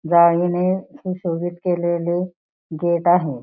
जाळीने सुशोभित केलेले गेट आहे.